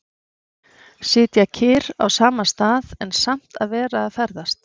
Sitja kyrr á sama stað, en samt að vera að ferðast.